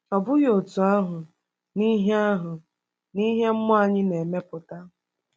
Ọ bụghị otú ahụ n’ihe ahụ n’ihe mmụọ anyị na-emepụta.